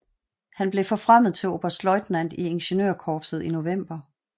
Han blev forfremmet til oberstløjtnant i ingeniørkorpset i november